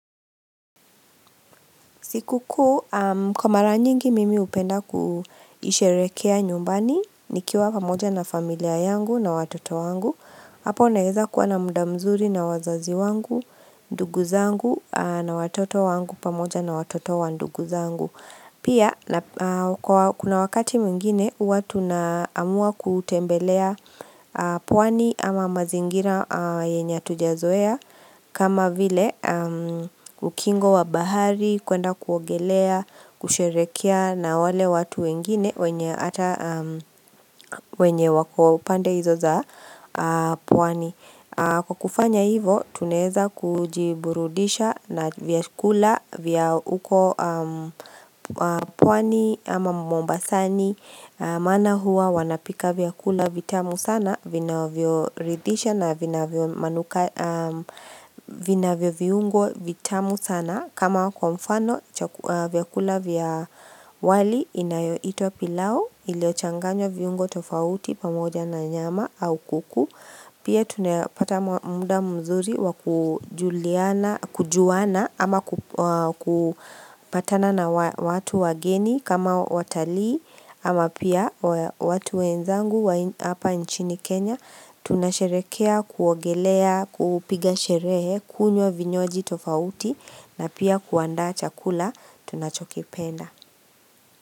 Siku kuu, kwa mara nyingi mimi hupenda kuisherehekea nyumbani, nikiwa pamoja na familia yangu na watoto wangu, hapo naeza kuwa na muda mzuri na wazazi wangu, ndugu zangu na watoto wangu pamoja na watoto wa ndugu zangu. Pia, kuna wakati mwingine, huwa tunaamua kutembelea pwani ama mazingira yenye hatujazoea kama vile, ukingo wa bahari, kuenda kuogelea, kusherehekea na wale watu wengine wenye ata wenye wako upande hizo za pwani Kwa kufanya hivo, tunaeza kujiburudisha na vyakula vya huko pwani ama mombasani maana huwa wanapika vyakula vitamu sana, vinavyo ridhisha na vina vyo viungo vitamu sana kama kwa mfano, vyakula vya wali inayoitwa pilau, ilio changanywa viungo tofauti pamoja na nyama au kuku Pia tunapata muda mzuri wa kujuliana kujuana ama kupatana na watu wageni kama watalii ama pia watu wenzangu hapa nchini Kenya tunasherehekea kuogelea kupiga sherehe kunywa vinywaji tofauti na pia kuanda chakula tunachokipenda.